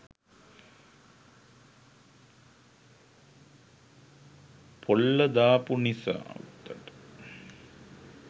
පොල්ල දාපු නිසා